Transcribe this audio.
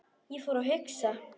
Ég fór að hugsa.